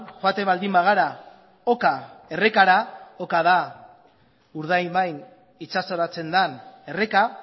joaten baldin bagara oka errekara oka da urdaibain itsasoratzen den erreka